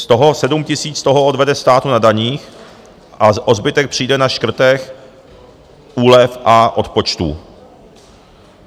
Z toho 7 000 odvede státu na daních a o zbytek přijde na škrtech, úlev a odpočtů.